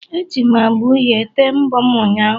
Eji m agba uhie tee mbọ m ụnyahụ